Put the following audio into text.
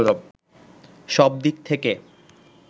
সব দিক থেকে